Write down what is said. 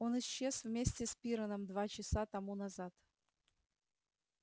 он исчез вместе с пиренном два часа тому назад